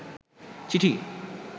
চিঠি